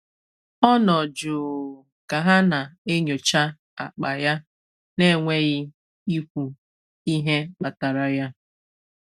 Ọ nọ̀ jụụ ka ha na-enyocha akpa ya na-enweghị ikwu ihe kpatara ya.